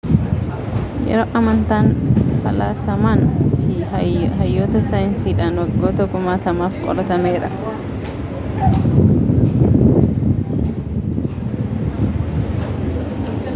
yeroon amantaan faalasamaan fi hayyoota sayiinsidhaan waggoota kumaatamaf qoratameera